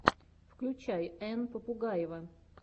включай энн попугаева